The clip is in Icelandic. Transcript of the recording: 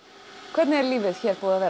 hvernig er lífið hér búið að vera